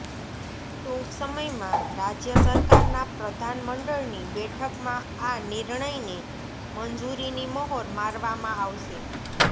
ટૂંક સમયમાં રાજ્ય સરકારના પ્રધાન મંડળની બેઠકમાં આ નિર્ણયને મંજૂરીની મહોર મારવામાં આવશે